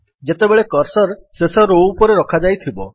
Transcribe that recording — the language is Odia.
ଯେତେବେଳେ କର୍ସର୍ ଶେଷ ରୋ ଉପରେ ରଖାଯାଇଥିବ